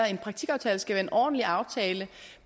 en praktikaftale skal være en ordentlig aftale